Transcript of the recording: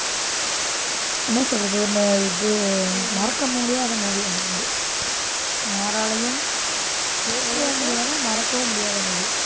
என்ன சொல்றது? ஒண்ணு இது மறக்க முடியாத movie அது வந்து. யாராலயும், ஏற்கவும் முடியாது, மறக்கவும் முடியாத movie.